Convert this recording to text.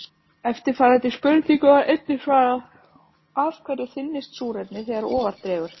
Eftirfarandi spurningu var einnig svarað: Af hverju þynnist súrefnið þegar ofar dregur?